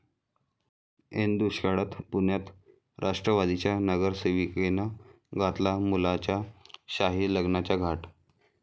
ऐन दुष्काळात पुण्यात राष्ट्रवादीच्या नगरसेविकेनं घातला मुलाच्या शाही लग्नाचा घाट